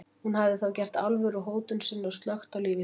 Hún hafði þá gert alvöru úr hótun sinni og slökkt á lífi sínu.